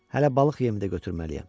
Hələ balıq yemi də götürməliyəm.